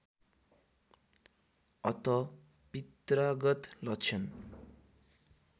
अतः पित्रागत लक्षण